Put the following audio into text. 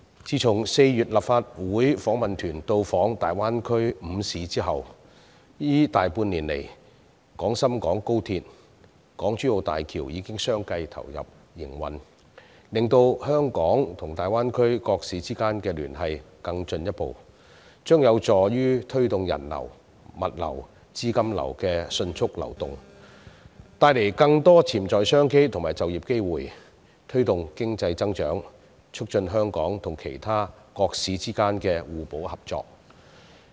自從4月立法會訪問團到訪大灣區5個城市後，這大半年來，廣深港高速鐵路和港珠澳大橋已相繼投入營運，令香港與大灣區各市之間的聯繫更進一步，這將有助於推動人流、物流、資金流的迅速流動，帶來更多潛在商機和就業機會，推動經濟增長，促進香港與其他城市之間的互補合作。